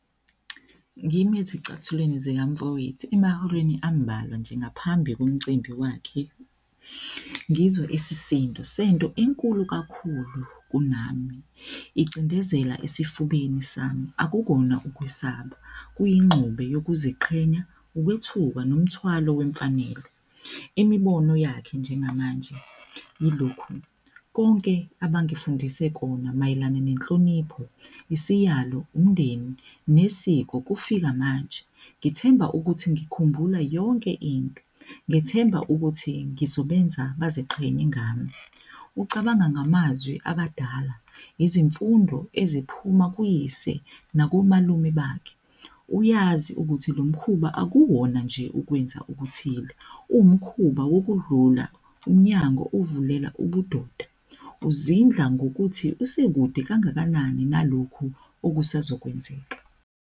Ngimi ezicathulweni zikama mfowethu emahoreni ambalwa nje ngaphambi komcimbi wakhe. Ngizwa isisindo sento enkulu kakhulu kunami icindezela esifubeni sami. Akukona ukwesaba kuyingxube wokuziqhenya ukwethuka nomthwalo wemfanelo. Imibono yakhe njengamanje yilokhu, konke abangifundise kona mayelana nenhlonipho, isiyalo, umndeni nesiko kufika manje. Ngithemba ukuthi ngikhumbule yonke into, ngithemba ukuthi ngizobenza baziqhenye ngami. Ucabanga ngamazwi abadala izifundo eziphuma kuyise nakomalume bakhe. Uyazi ukuthi le mkhuba akuwona nje ukwenza okuthile uwumkhuba wokuvula umnyango uvulela ubudoda. Uzindla ngokuthi usekude kangakanani nalokhu okusazokwenzeka.